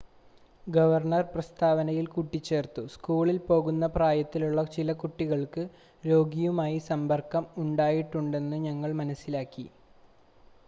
"Governor പ്രസ്‌താവനയിൽ കൂട്ടിച്ചേർത്തു "സ്കൂളിൽ പോകുന്ന പ്രായത്തിലുള്ള ചില കുട്ടികൾക്ക് രോഗിയുമായി സമ്പർക്കം ഉണ്ടായിട്ടുണ്ടെന്ന് ഞങ്ങൾ മനസ്സിലാക്കി.""